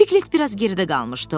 Piklet biraz geridə qalmışdı.